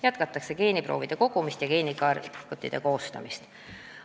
Jätkatakse geeniproovide kogumist ja geenikaartide koostamist.